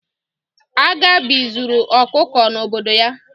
Agabi zuru ọkụkọ n'obodo ya.